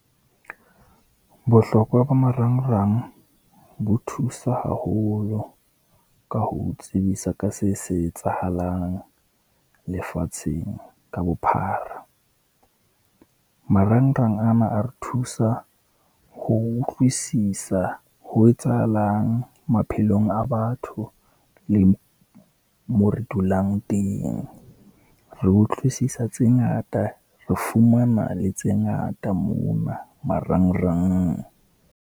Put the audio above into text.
Bohlokwa ba marangrang bo thusa haholo ka ho o tsebisa ka se se etsahalang lefatsheng ka bophara. Marangrang ana a re thusa ho utlwisisa ho etsahalang maphelong a batho, le mo re dulang teng. Re utlwisisa tse ngata, re fumana le tse ngata mona marangrang.